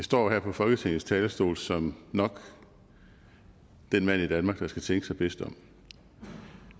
står her på folketingets talerstol som nok den mand i danmark der skal tænke sig bedst om